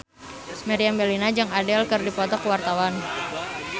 Meriam Bellina jeung Adele keur dipoto ku wartawan